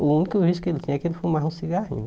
O único vício que ele tem é que ele fumava um cigarrinho.